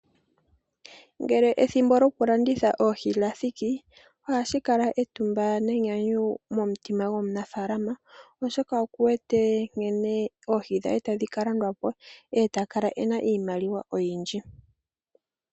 Ngele ethimbo lyokulanditha oohi lya thiki, ohashi kala etumba nenyanyu momutima gwomunafaalama oshoka oku wete nkene oohi dhe tadhi ka landwa po, e ta kala e na iimaliwa oyindji.